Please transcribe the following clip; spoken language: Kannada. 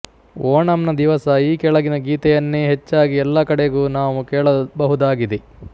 ಓಣಂನ ದಿವಸ ಈ ಕೆಳಗಿನ ಗೀತೆಯನ್ನೇ ಹೆಚ್ಚಾಗಿ ಎಲ್ಲ ಕಡೆಗೂ ನಾವು ಕೇಳಬಹುದಾಗಿದೆ